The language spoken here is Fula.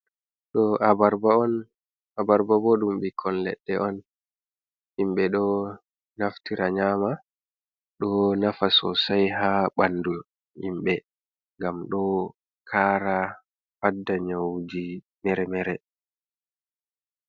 Ɗo abarba on, abarba bo ɗum bikkon leɗɗe on, himɓe ɗo naftira nyama, ɗo nafa so sai ha ɓandu himɓe, gam ɗo kara fadda nyawuji mere-mere.